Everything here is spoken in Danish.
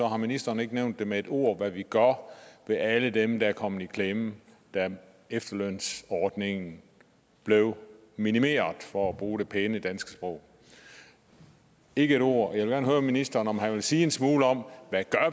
har ministeren ikke nævnt med ét ord hvad vi gør med alle dem der kom i klemme da efterlønsordningen blev minimeret for at bruge det pæne danske sprog ikke et ord jeg vil gerne høre ministeren om han vil sige en smule om hvad